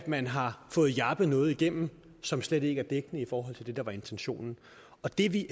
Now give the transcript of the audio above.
man har fået jappet noget igennem som slet ikke er dækkende i forhold til det der var intentionen og det er vi